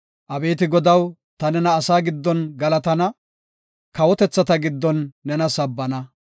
Abeeti Godaw, ta nena asaa giddon galatana; kawotethata giddon nena sabbana.